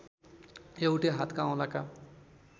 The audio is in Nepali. एउटै हातका औंलाका